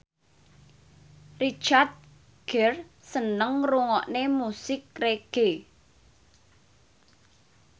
Richard Gere seneng ngrungokne musik reggae